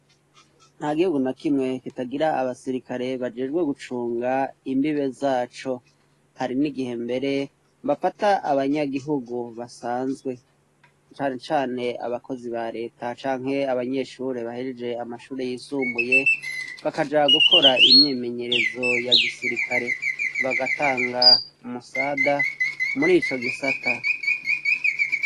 nta gihugu na kimwe kitagira abasirikare bajejwe gucunga imbibe zaco hari n'igihe mbere bafata abanyagihugu basanzwe cane cane abakozi ba leta canke abanyeshure bahejeje amashure yisumbuye bakaja gukora imyimenyerezo ya gisirikare bagatanga umusada murico gisata